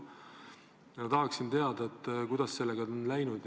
Ma tahaksin teada, kuidas sellega on läinud.